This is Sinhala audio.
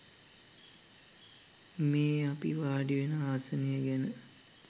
මේ අපි වාඩිවෙන ආසනය ගැන